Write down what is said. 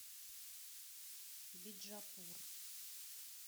биджапур